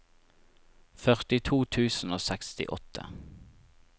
førtito tusen og sekstiåtte